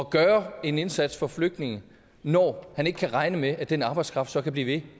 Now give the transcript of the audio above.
gøre en indsats for flygtninge når han ikke kan regne med at den arbejdskraft så kan blive ved